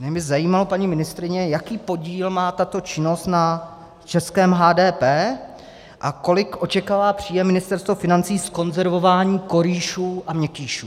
Mě by zajímalo, paní ministryně, jaký podíl má tato činnost na českém HDP a kolik očekává příjem Ministerstvo financí z konzervování korýšů a měkkýšů.